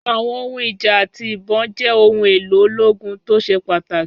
Àwọn ohun ìjà àti ìbọn jẹ́ ohun èlò ológun tó ṣe pàtàkì.